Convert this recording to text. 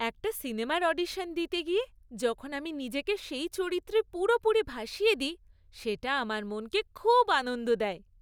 একটা সিনেমার অডিশন দিতে গিয়ে যখন আমি নিজেকে সেই চরিত্রে পুরোপুরি ভাসিয়ে দিই, সেটা আমার মনকে খুব আনন্দ দেয়।